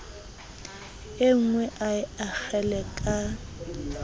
enngwe a le akgele ka